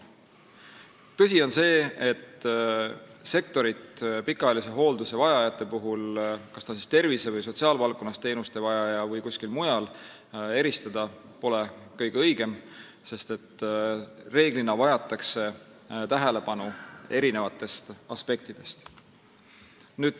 Tõsi on see, et sektoris teha vahet, kas pikaajalise hoolduse vajajal on vaja teenuseid tervise- või sotsiaalvaldkonnas või kuskil mujal, pole kõige õigem, sest reeglina vajatakse tähelepanu eri aspektidest.